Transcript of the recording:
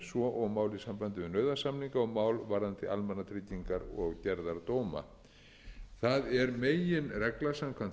svo og mál í sambandi við nauðasamninga og mál varðandi almannatryggingar og gerðardóma það er meginregla samkvæmt